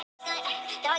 Án þess að fella tár.